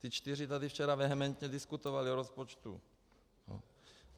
Ti čtyři tady včera vehementně diskutovali o rozpočtu.